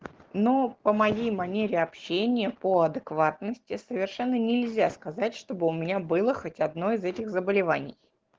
ну помоги манере общения по адекватности совершенно нельзя сказать чтобы у меня было хоть одно из этих заболеваний